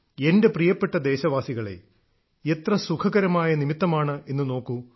എന്റെ പ്രിയപ്പെട്ട ദേശവാസികളേ എത്ര സുഖകരമായ നിമിത്തമാണെന്നു നോക്കൂ